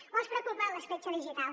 o els preocupa l’escletxa digital